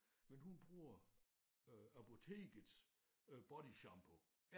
Men hun bruger øh apotekets øh bodyshampoo